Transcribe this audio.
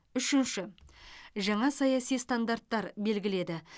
үшінші жаңа саяси стандарттар белгіледі